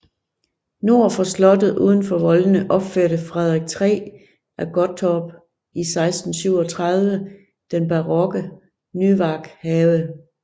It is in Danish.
Nord for slottet uden for voldene opførte Frederik 3 af Gottorp i 1637 den barokke Nyværkhave